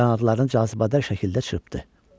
Qanadlarını cazibədar şəkildə çırpdı.